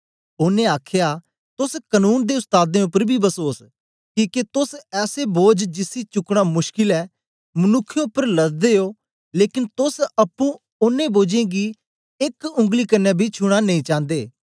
ओनें आखया तोस कनून दे उस्तादें उपर बी बसोस किके तोस ऐसे बोझ जिसी चुकना मुश्कल ऐ मनुक्खें उपर लददे ओ लेकन तोस अप्पुं ओनें बोझों गी एक उंगली कन्ने बी छूना नेई चान्दे